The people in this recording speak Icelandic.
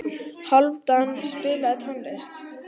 Hálfdan, spilaðu tónlist.